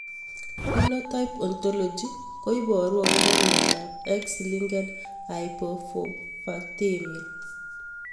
Phenotype ontology ko iparu akopo miondop X linked hypophosphatemia